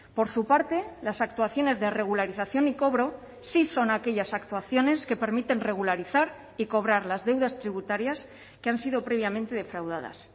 por su parte las actuaciones de regularización y cobro sí son aquellas actuaciones que permiten regularizar y cobrar las deudas tributarias que han sido previamente defraudadas